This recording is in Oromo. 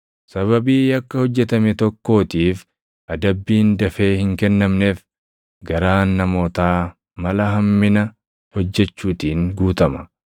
Sababii yakka hojjetame tokkootiif adabbiin dafee hin kennamneef, garaan namootaa mala hammina hojjechuutiin guutama.